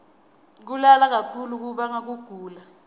kulala kakhulu kubanga kugula